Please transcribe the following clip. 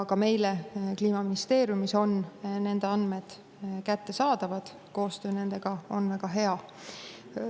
Ka meile Kliimaministeeriumis on nende andmed kättesaadavad, koostöö nendega on väga hea.